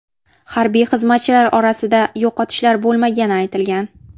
Harbiy xizmatchilar orasida yo‘qotishlar bo‘lmagani aytilgan.